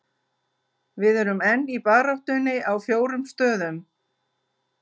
Við erum enn í baráttunni á fjórum stöðum.